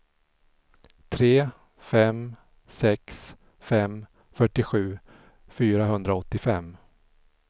tre fem sex fem fyrtiosju fyrahundraåttiofem